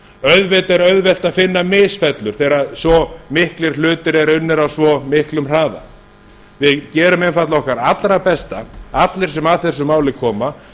auðvitað er auðvelt að finna misfellur þegar svo miklir hlutir eru unnir á svo miklum hraða við gerum einfaldlega okkar allra besta allir sem að þessu máli koma